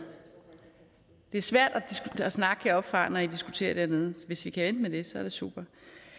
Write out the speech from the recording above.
det er svært at snakke heroppefra når i diskuterer dernede hvis i kan vente med det så er det super